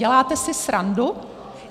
Děláte si srandu?